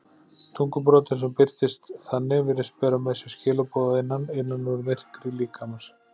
Tungubroddur sem birtist þannig virðist bera með sér skilaboð að innan, innan úr myrkri líkamans.